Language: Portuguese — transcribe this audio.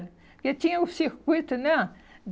Porque tinha o circuito, né?